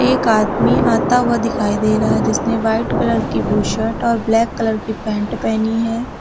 एक आदमी आता हुआ दिखाई दे रहा है जिसने व्हाइट कलर की बु शर्ट और ब्लैक कलर की पैंट पहनी है।